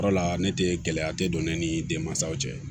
O yɔrɔ la ne tɛ gɛlɛya te don ne ni denmansaw cɛ